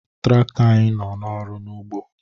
Trakto anyị nọ n'ọrụ n'ugbo